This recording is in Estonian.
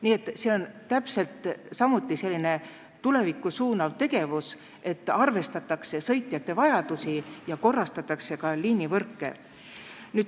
Nii et see on täpselt samuti selline tulevikku suunatud tegevus, et arvestatakse sõitjate vajadusi ja korrastatakse liinivõrke.